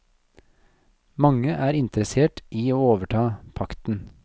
Mange er interessert i å overta pakten.